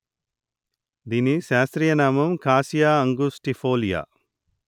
దీని శాస్త్రయనామం cassia angustifolia